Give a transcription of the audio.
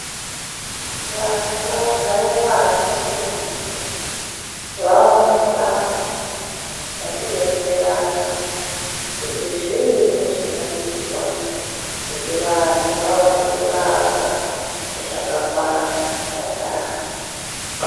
Vantu ngavagare pashi senyika vaonesane ngekubetserana kuti zviinyi zvinodiwa kuti vantu vaone kurapwa zvakakwana muzvipatara .